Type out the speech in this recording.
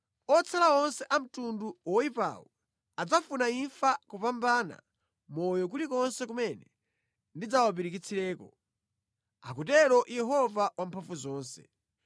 Otsala onse a mtundu woyipawu adzafuna imfa kopambana moyo kulikonse kumene ndidzawapirikitsirako, akutero Yehova Wamphamvuzonse.’ ”